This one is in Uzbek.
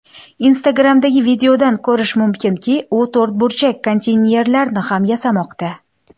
Instagram’dagi videodan ko‘rish mumkinki, u to‘rtburchak konteynerlarni ham yasamoqda.